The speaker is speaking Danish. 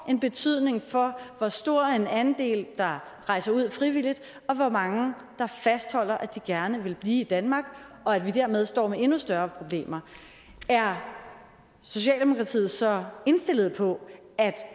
en betydning for hvor stor en andel der rejser ud frivilligt og hvor mange der fastholder at de gerne vil blive i danmark og at vi dermed står med endnu større problemer er socialdemokratiet så indstillet på at